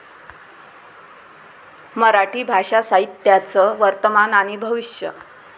मराठी भाषा साहित्याचं वर्तमान आणि भविष्य